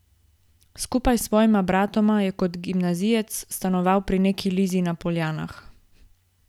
Skupaj s svojima bratoma je kot gimnazijec stanoval pri neki Lizi na Poljanah.